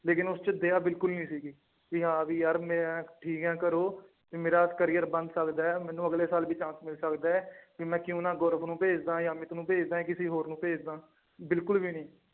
ਲੇਕਿੰਨ ਉਸ ਚ ਦਇਆ ਬਿਲਕੁਲ ਨੀ ਸੀਗੀ ਵੀ ਹਾਂ ਵੀ ਯਾਰ ਮੈਂ ਠੀਕ ਹੈ ਘਰੋਂ ਵੀ ਮੇਰਾ career ਬਣ ਸਕਦਾ ਹੈ ਮੈਨੂੰ ਅਗਲੇ ਸਾਲ ਵੀ chance ਮਿਲ ਸਕਦਾ ਹੈ ਵੀ ਮੈ ਕਿਉਂ ਨਾ ਗੋਰਵ ਨੂੰ ਭੇਜ ਦੇਵਾਂ ਜਾਂ ਅਮਿਤ ਭੇਜ ਦੇਵਾਂ ਕਿਸੇ ਹੋਰ ਨੂੰ ਭੇਜ ਦੇਵਾਂ ਬਿਲਕੁਲ ਵੀ ਨੀ